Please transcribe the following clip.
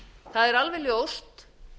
það er alveg ljóst